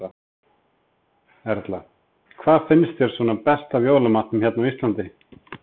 Erla: Hvað finnst þér svona best af jólamatnum hérna á Íslandi?